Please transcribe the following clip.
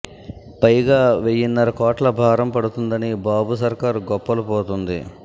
పైగా వెయ్యిన్నర కోట్ల భారం పడుతుందని బాబు సర్కారు గొప్పలు పోతోంది